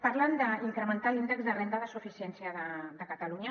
parlen d’incrementar l’índex de renda de suficiència de catalunya